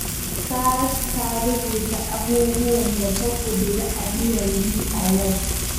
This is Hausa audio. Saratu ta rubuta abubuwan da ta ƙudiri aniyar yi a yau